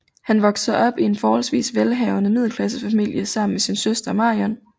Han voksede op i en forholdsvis velhavende middelklassefamilie sammen med sin søster Marion